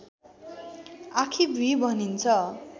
आँखीभुईं भनिन्छ